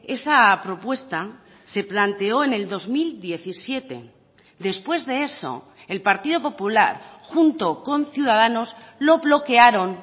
esa propuesta se planteó en el dos mil diecisiete después de eso el partido popular junto con ciudadanos lo bloquearon